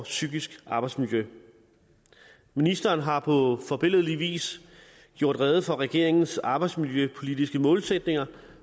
psykiske arbejdsmiljø ministeren har på forbilledlig vis gjort rede for regeringens arbejdsmiljøpolitiske målsætninger